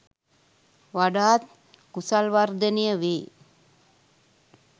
වඩාත් කුසල් වර්ධනය වේ.